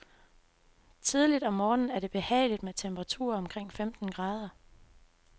Tidligt om morgenen er det behageligt med temperaturer omkring femten grader.